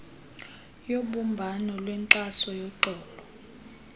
yobumbano lwenkxaso yoxolo